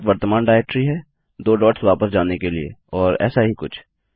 dot वर्त्तमान directory है दो डॉट्स वापस जाने के लिए और ऐसा ही कुछ